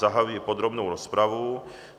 Zahajuji podrobnou rozpravu.